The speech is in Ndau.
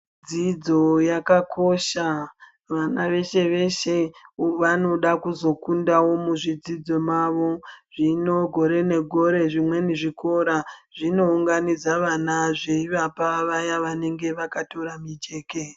Dzidzo yakakosha .Vana veshe-veshe vanoda kuzokundawo muzvidzidzo mavo. Zvino gore negore zvimweni zvikora, zvinounganidza vana zveivapa vaya vanenge vakatora mijeke.